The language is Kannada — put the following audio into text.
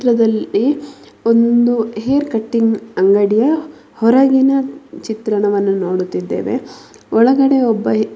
ಈ ಚಿತ್ರದಲ್ಲಿ ಒಂದು ಹೇರ್ ಕಟಿಂಗ್ ಅಂಗಡಿಯ ಹೊರಗಿನ ಚಿತ್ರಣವನ್ನು ನೋಡುತಿದೇವೆ ಒಳಗಡೆ ಒಬ್ಬ --